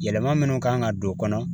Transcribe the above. Yɛlɛma minnu kan ka don o kɔnɔ